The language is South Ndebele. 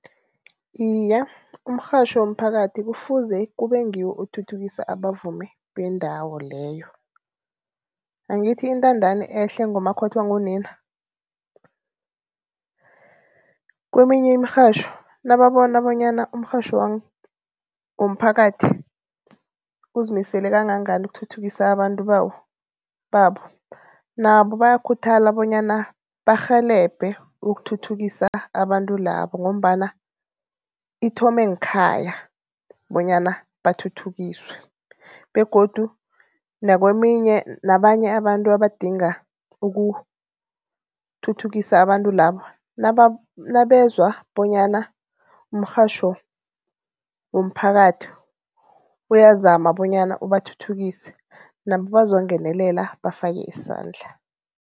Iye, umrhatjho womphakathi kufuze kube ngiwo othuthukisa abavumi bendawo leyo. Angithi intandani ehle ngumakhothwa ngunini. Kweminye imirhatjho nababona bonyana umrhatjho womphakathi uzimisele kangangani ukuthuthukisa abantu bawo, babo. Nabo bayakhuthala bonyana barhelebhe ukuthuthukisa abantu labo ngombana ithome nkhaya bonyana bathuthukiswe begodu nakweminye nabanye abantu abadinga ukuthuthukisa abantu labo nabezwa bonyana umrhatjho womphakathi uyazama bonyana ubathuthukise nabo bazongenelela bafake isandla.